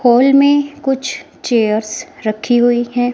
Hall में कुछ chairs रखी हुईं हैं।